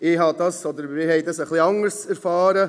Ich oder wir haben das etwas anders erfahren.